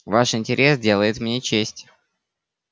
ваш интерес делает мне честь